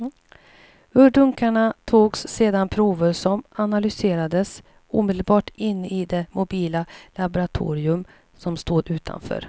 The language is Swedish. Ur dunkarna togs sedan prover som analyserades omedelbart inne i det mobila laboratorium som stod utanför.